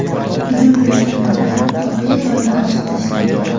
Hujum uyushtirganlar voqea joyida otib tashlangan.